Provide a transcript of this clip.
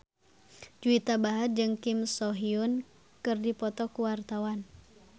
Juwita Bahar jeung Kim So Hyun keur dipoto ku wartawan